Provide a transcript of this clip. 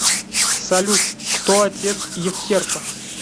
салют кто отец евтерпа